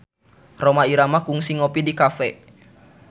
Rhoma Irama kungsi ngopi di cafe